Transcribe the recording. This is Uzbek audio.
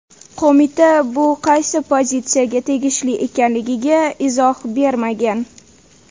Qo‘mita bu qaysi pozitsiyaga tegishli ekanligiga izoh bermagan.